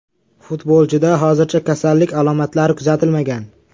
Futbolchida hozircha kasallik alomatlari kuzatilmagan.